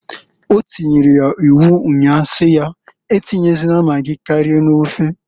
O tiri ya iwu nnya si ya, a tinyezịna magi karịa n'ofeǃ